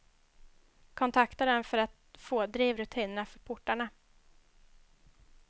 Kontakta dem för att få drivrutinerna för portarna.